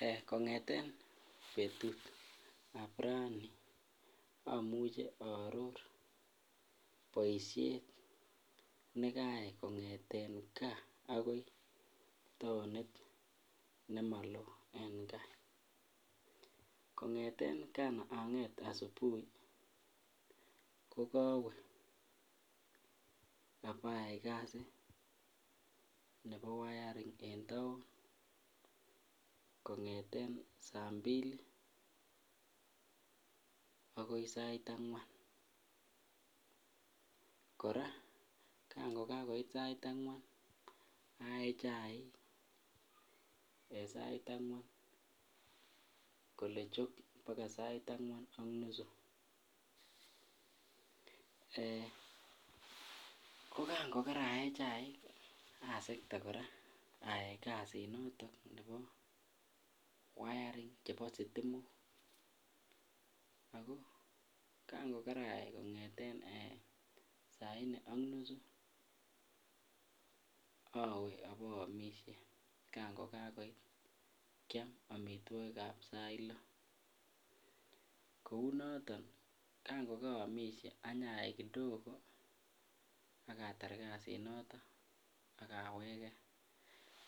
Eeh kongeten betutab raini amuche aror nekayai kongeten kaa akoi taonit nemolo en kaa, kongeten kan anget asubuhi ko kowee abayai kasit nebo wayaring en taon kongeten saa mbili akoi sait angwan, kora kango kakoit sait angwan ayee chaik en sait angwan kolee chok akoi sait angwan ak nusu, ko kaan ko karaye chaik asekte kora ayaai kasinoton nebo wayaring chebo sitimok ak ko kango karayai kongeten saine ak nusu owee oboomishe kan ko kakoit kiam amitwokikab sait loh, kounoton kan kokoroomishe anyayai kidogo ak atar kasinoton ak aweke